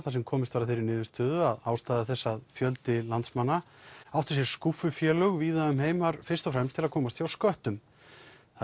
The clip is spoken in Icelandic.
þar sem komist var að þeirri niðurstöðu að ástæða þess að fjöldi landsmanna átti skúffufélög víða um heim var fyrst og fremst til að komast hjá sköttum það